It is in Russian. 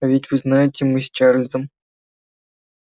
а ведь вы знаете мы с чарлзом